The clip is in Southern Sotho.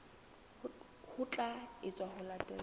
ho tla etswa ho latela